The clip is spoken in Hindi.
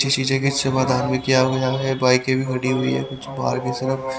किसी शीशे के इससे भी किया हुआ है बाईकें भी खड़ी हुई हैं कुछ बाहर की तरफ--